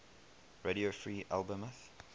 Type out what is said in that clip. radio free albemuth